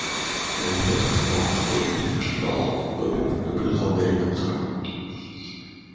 гарри поттер снова в школе прошептал он добби предупреждал гарри поттера